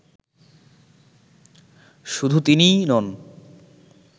শুধু তিনিই নন